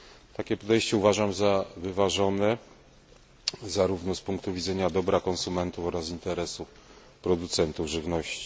Takie podejście uważam za wyważone zarówno, z punktu widzenia dobra konsumentów, jak i interesu producentów żywności.